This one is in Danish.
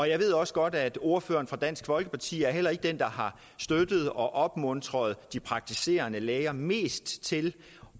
jeg ved også godt at ordføreren for dansk folkeparti heller ikke er den der har støttet og opmuntret de praktiserende læger mest til